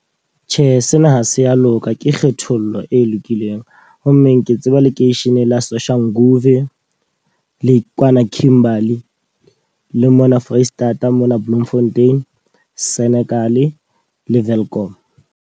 Tjhe, sena ha se ya loka ke kgethollo e lokileng. Ho mmeng ke tseba lekeishene la Soshanguve, le kwana Kimberly. Le mona Foreisetata mona Bloemfontein, Senekal le Welkom.